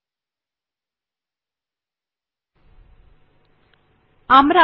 তাহলে এর পাশের চেক বক্স এ ক্লিক করুন